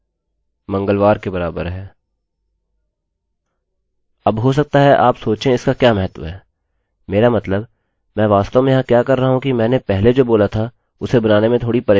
अब हो सकता है आप सोचें इसका क्या महत्व है मेरा मतलब मैं वास्तव में यहाँ क्या कर रहा हूँ कि मैंने पहले जो बोला था उसे बनाने में थोड़ी परेशानी होगी